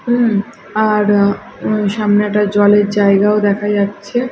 উম আর সামনে একটা জলের জায়গাও দেখে যাচ্ছে।